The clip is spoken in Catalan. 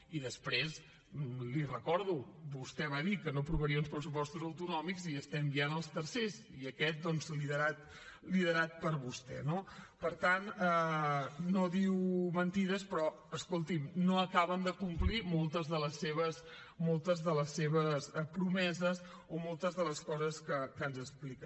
i després li ho recordo vostè va dir que no aprovaria uns pressupostos autonòmics i estem ja en els tercers i aquest doncs liderat per vostè no per tant no diu mentides però escolti’m no acaben de complir moltes de les seves promeses o moltes de les coses que ens explica